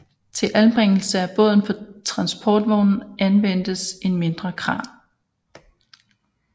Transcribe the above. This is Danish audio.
Til anbringelse af båden på transportvognen anvendtes en mindre kran